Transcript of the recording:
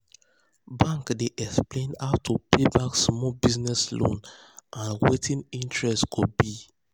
bank dey explain how to pay back small business loan and wetin interest go be.